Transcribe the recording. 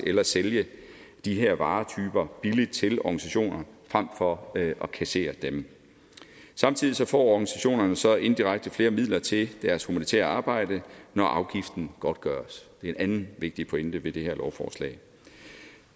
eller sælge de her varetyper billigt til organisationer frem for at kassere dem samtidig får organisationerne jo så indirekte flere midler til deres humanitære arbejde når afgiften godtgøres det er en anden vigtig pointe ved det her lovforslag